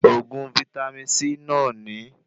Oògùn vítámì C náà ní